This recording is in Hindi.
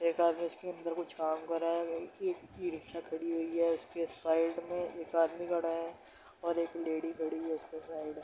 एक आदमी इसके अंदर कुछ काम कर रहा है | ई इ-रिक्शा खड़ी हुई है उसके साइड में एक आदमी खड़ा है और एक लेडी खड़ी है उसके साइड में |